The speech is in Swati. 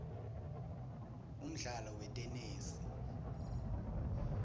umdlalo wetenesi